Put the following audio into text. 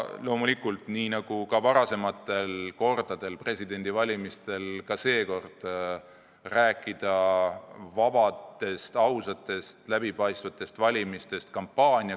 Loomulikult, nii nagu ka varasematel kordadel presidendivalimistel, pole ka seekord võimalik rääkida vabadest, ausatest, läbipaistvatest valimistest.